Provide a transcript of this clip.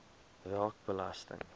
raak belasting